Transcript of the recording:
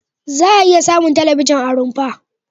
Za'a iya samun talabijin a rumfa.